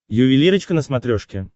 ювелирочка на смотрешке